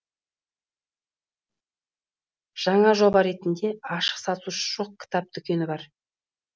жаңа жоба ретінде ашық сатушы жоқ кітап дүкені бар